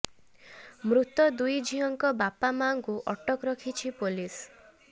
ମୃତ ଦୁଇ ଝିଅଙ୍କ ବାପା ମାଆଙ୍କୁ ଅଟକ ରଖିଛି ପୋଲିସ୍